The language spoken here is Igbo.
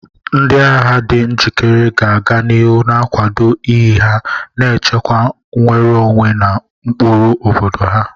Ndị agha di njikere ga-aga n'ihu na-akwado iyi ha, na-echekwa nnwere onwe na ụkpụrụ obodo ha.